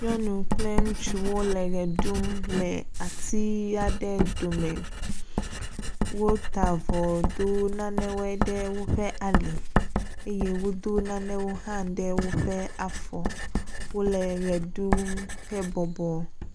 Nyɔnu kple ŋutsuwo el ʋe ɖum le ati aɖewo dome, wota avɔ, do nane we ɖe woƒe ali eye wodo nane wo hã ɖe woƒe afɔ. Wo le ʋe ɖum he bɔbɔ.